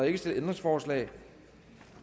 ikke stillet ændringsforslag